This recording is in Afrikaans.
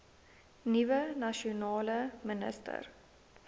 nuwe nasionale minister